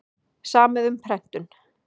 Samið um prentun